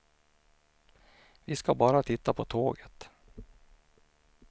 Vi ska bara titta på tåget.